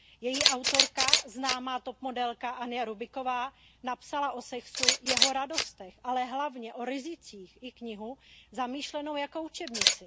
Její autorka, známá topmodelka Anja Rubiková, napsala o sexu, jeho radostech, ale hlavně o rizicích knihu zamýšlenou jako učebnici.